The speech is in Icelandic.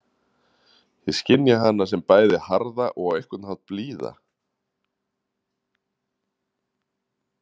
Ég skynja hana sem bæði harða og á einhvern hátt blíða.